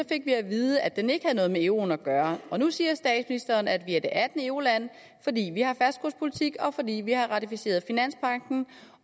fik vi at vide at den ikke havde noget med euroen at gøre og nu siger statsministeren at vi er det attende euroland fordi vi har fastkurspolitik og fordi vi har ratificeret finanspagten